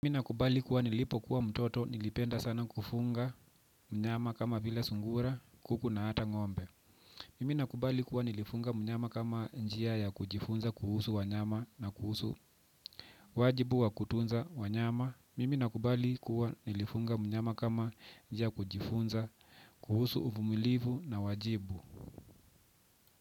Mimi nakubali kuwa nilipo kuwa mtoto nilipenda sana kufuga wanyama kama vila sungura kuku na hata ngombe. Mimi na kubali kuwa nilifuga mnyama kama njia ya kujifunza kuhusu wanyama na kuhusu wajibu wa kutunza wanyama. Mimi nakubali kuwa nilifunga mnyama kama njia kujifunza kuhusu uvumilivu na wajibu.